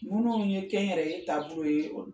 Minnu ye kɛ yɛrɛ ye ye